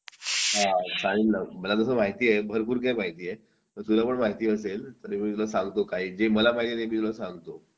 हो चालेल ना मला तसं माहिती आहे भरपूर काही माहिती आहे तुलाही माहिती असेल पण जे मला माहितीये ते मी तुला सांगतो